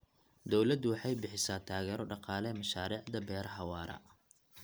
Dawladdu waxay bixisaa taageero dhaqaale mashaariicda beeraha waara.